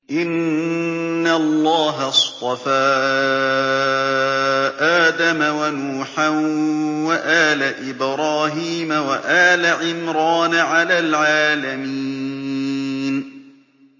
۞ إِنَّ اللَّهَ اصْطَفَىٰ آدَمَ وَنُوحًا وَآلَ إِبْرَاهِيمَ وَآلَ عِمْرَانَ عَلَى الْعَالَمِينَ